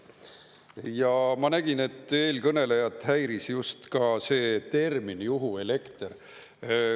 Ja ma nägin, et eelkõnelejat häiris just ka see termin "juhuelekter".